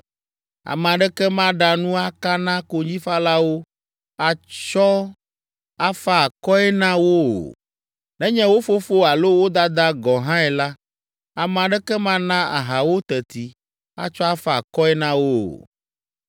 Ame aɖeke maɖa nu aka na konyifalawo, atsɔ afa akɔe na wo o. Nenye wo fofo alo wo dada gɔ̃ hãe la, ame aɖeke mana aha wo teti atsɔ afa akɔe na wo o.